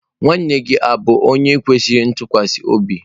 Nwanne gi o bu onye kwesiri ntukwasi obi?